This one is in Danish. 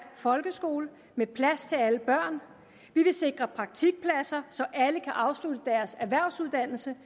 folkeskole med plads til alle børn vi vil sikre praktikpladser så alle kan afslutte deres erhvervsuddannelse